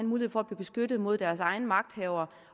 mulighed for at blive beskyttet mod deres egne magthavere